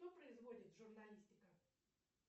что производит журналистика